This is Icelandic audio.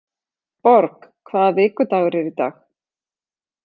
Borg, hvaða vikudagur er í dag?